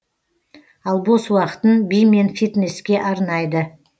ал бос уақытын би мен фитнеске арнайды